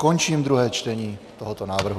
Končím druhé čtení tohoto návrhu.